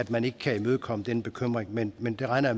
man ikke kan imødekomme den bekymring men men det regner